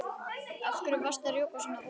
Af hverju varstu að rjúka svona út?